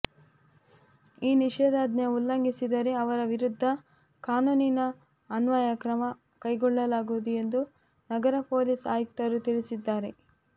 ಈ ನಿಷೇಧಾಜ್ಞೆ ಉಲ್ಲಂಘಿಸಿದರೆ ಅವರ ವಿರುದ್ಧ ಕಾನೂನಿನ ಅನ್ವಯ ಕ್ರಮ ಕೈಗೊಳ್ಳಲಾಗುವುದು ಎಂದು ನಗರ ಪೊಲೀಸ್ ಆಯುಕ್ತರು ತಿಳಿಸಿದ್ದಾರೆ